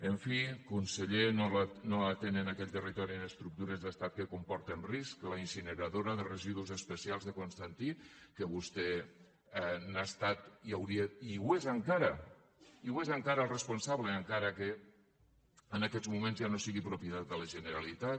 en fi conseller no atenen aquell territori en estructures d’estat que comporten risc la incineradora de residus especials de constantí que vostè n’ha estat i ho és encara el responsable encara que en aquests moments ja no sigui propietat de la generalitat